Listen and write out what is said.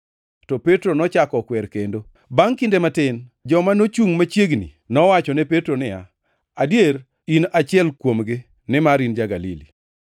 To Petro nochako okwer kendo. Bangʼ kinde matin joma nochungʼ machiegni nowacho ne Petro niya, “adier in achiel kuomgi, nimar in ja-Galili.”